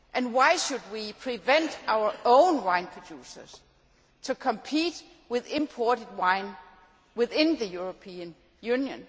Why should we prevent our own wine producers from competing with imported wine within the European Union?